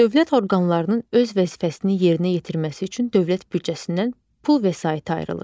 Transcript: Dövlət orqanlarının öz vəzifəsini yerinə yetirməsi üçün dövlət büdcəsindən pul vəsaiti ayrılır.